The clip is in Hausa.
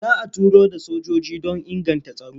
Za a turo da sojoji don inganta tsaro.